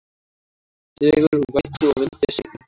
Dregur úr vætu og vindi seinnipartinn